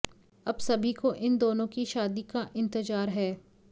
अब सभी को इन दोनों की शादी का इंतजार है